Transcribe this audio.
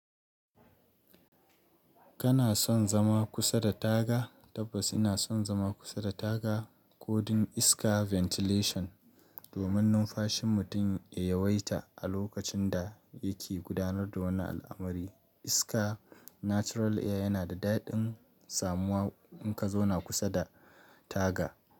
Kana son zama kusa da taga? Tabbas ina son zama kusa da taga ko don iska ventilation domin numfashin mutum ya yawaita a lokacin da yake gudanar da wani al'amari. Iska natural air yana da daɗin samuwa in ka zauna kusa da taga.